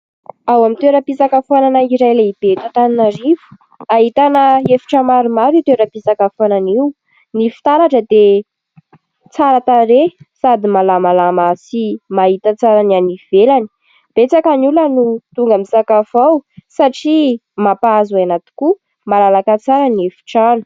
Ao amin'ny toera-pisakafoanana iray lehibe eto Antananarivo. Ahitana efitra maromaro ity toera-pisakafoanana io. Ny fitaratra dia tsara tarehy ! Sady malamalama sy mahita tsara ny any ivelany. Betsaka ny olona no tonga misakafo ao, satria mampahazo aina tokoa. Malalaka tsara ny efi-trano.